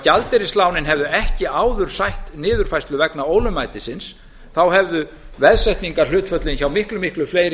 gjaldeyrislánin hefðu ekki áður sætt niðurfærslu vegna ólögmætisins hefðu veðsetningarhlutföllin hjá miklu fleiri